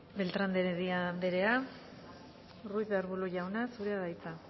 beltrán de heredia anderea ruiz de arbulo jauna zurea da hitza